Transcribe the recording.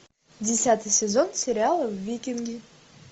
десятый сезон сериала викинги